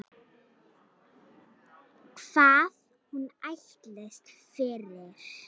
Hvað hún ætlist fyrir.